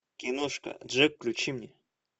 киношка джек включи мне